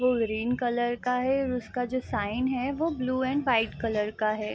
वो green colour का है और उसका जो साइन है वो ब्लू एंड व्हाइट कलर का है।